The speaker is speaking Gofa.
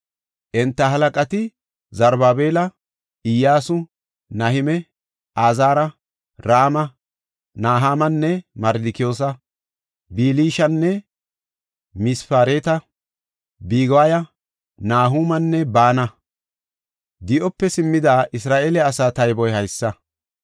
Enta halaqati Zarubaabela, Iyyasu, Nahime, Azaara, Rama, Nahamane, Mardikiyoosa, Bilshana, Mispereta, Bigiwaya, Nahumanne Baana. Di7ope simmida Isra7eele asaa tayboy haysa;